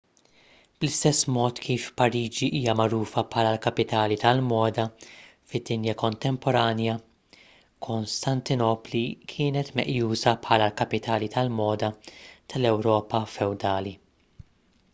bl-istess mod kif pariġi hija magħrufa bħala l-kapitali tal-moda fid-dinja kontemporanja kostantinopli kienet meqjusa bħala l-kapitali tal-moda tal-ewropa fewdali